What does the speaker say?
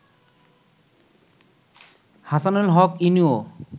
Hasanul Haq ইনুও